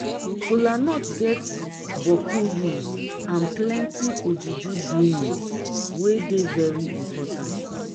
kolanut get bokku use and plenti ojuju doings wey dey very impotant